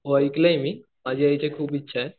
हो ऐकलंय मी माझी यायची खूप इच्छा आहे.